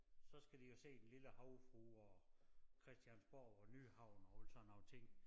Så skal de jo se Den Lille Havfrue og Christiansborg og Nyhavn og alle sådan nogle ting